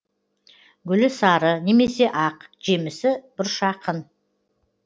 гүлі сары немесе ақ жемісі бұршаққын